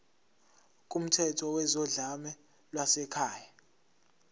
kumthetho wezodlame lwasekhaya